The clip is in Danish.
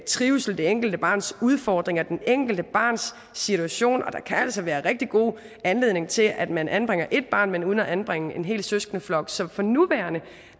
trivsel det enkelte barns udfordringer det enkelte barns situation og der kan altså være en rigtig god anledning til at man anbringer ét barn men uden at anbringe en hel søskendeflok så for nuværende